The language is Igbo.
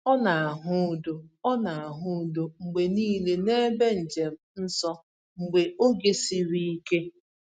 O na-ahụ udo O na-ahụ udo mgbe niile n’ebe njem nsọ mgbe oge siri ike.